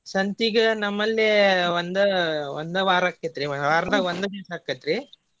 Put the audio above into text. ಸಂತಿಗೆ ನಮ್ಮಲ್ಲಿ ಒಂದ ಒಂದ ವಾರ ಅಕ್ಕೆತ್ರಿ ವಾರದಾಗ ಒಂದ್ ದಿವಸ ಆಕ್ಕೆತ್ರಿ.